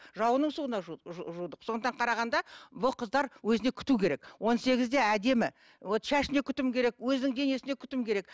жауынның суына жудық сондықтан қарағанда бұл қыздар өзіне күту керек он сегізде әдемі вот шашына күтім керек өзінің денесіне күтіп керек